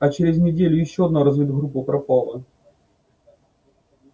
а через неделю ещё одна разведгруппа пропала